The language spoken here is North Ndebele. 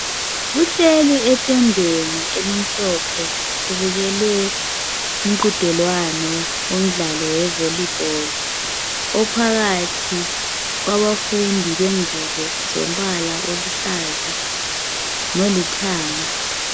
Kuhlelwi etendeni elimhlophe kubukelwe umqhudelwano womdlalo we volleyball, ophakathi kwabafundi bengubo zombala oluhlaza lolithanga.